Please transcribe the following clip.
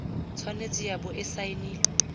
tshwanetse ya bo e saenilwe